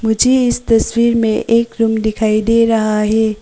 मुझे इस तस्वीर में एक रूम दिखाई दे रहा है।